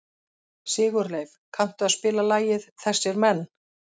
Sigurleif, kanntu að spila lagið „Þessir Menn“?